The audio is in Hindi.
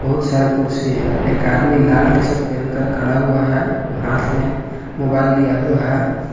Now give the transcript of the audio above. बहुत सारे कुर्सी है एक आदमी लाल टी शर्ट पहनकर खड़ा हुआ है हाथ में मोबाइल लिया हुआ है।